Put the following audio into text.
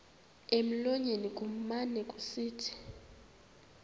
emlonyeni kumane kusithi